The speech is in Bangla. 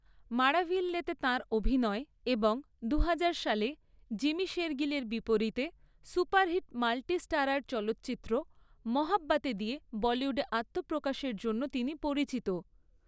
মাড়াভিল্লেতে তাঁর অভিনয় এবং দুহাজার সালে জিমি শেরগিলের বিপরীতে সুপারহিট মাল্টি স্টারার চলচ্চিত্র, 'মোহাব্বতে' দিয়ে বলিউডে আত্মপ্রকাশের জন্য তিনি পরিচিত।